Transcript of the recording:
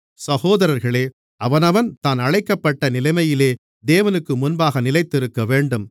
சகோதரர்களே அவனவன் தான் அழைக்கப்பட்ட நிலைமையிலே தேவனுக்குமுன்பாக நிலைத்திருக்கவேண்டும்